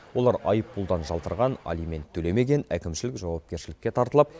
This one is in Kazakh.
олар айыппұлдан жалтарған алимент төлемеген әкімшілік жауапкершілікке тартылып